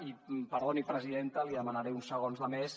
i perdoni presidenta li demanaré uns segons més